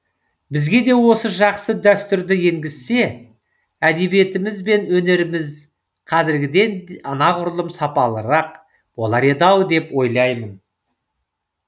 бізге де осы жақсы дәстүрді енгізсе әдебиетіміз бен өнеріміз қазіргіден анағұрлым сапалырақ болар еді ау деп ойлаймын